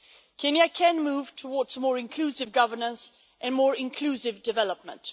Kenya can move towards a more inclusive governance and more inclusive development.